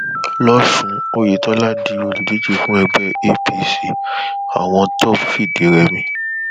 lòsùn oyetola di olùdíje fún ẹgbẹ apc àwọn tọp fìdírẹmi